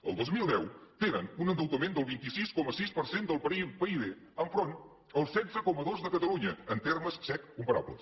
els länderment del vint sis coma sis per cent del pib enfront el setze coma dos de catalunya en termes sec comparables